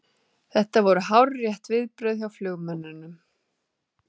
Þetta voru hárrétt viðbrögð hjá flugmönnunum